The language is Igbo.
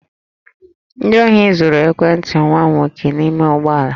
Ndị ohi zuru ekwentị nwa m nwoke n'ime ụgbọ ala